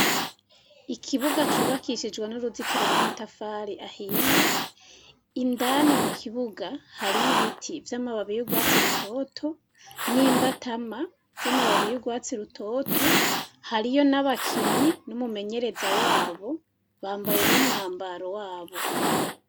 Ikibuga cubakishijwe n'uruzitiro rw'amatafari ahiye. Indani mu kibuga hariyo ibiti vy'amababi y'ugwatsi rutoto n'imbatama z'amababi y'ugwatsi rutoto. Hariyo n'abakinyi n'umumenyereza wabo bambaye n'umwambaro wabo.